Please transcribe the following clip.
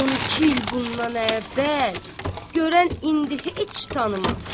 Onu iki il bundan əvvəl görən indi heç tanımaz.